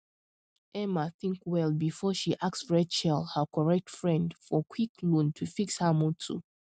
emma think well before she ask rachel her correct friend for quick loan to fix her motor